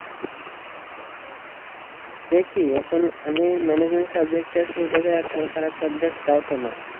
দেখি এখন আমি management subject এ আছি এটা তো একেবারে খারাপ subject তাও তো না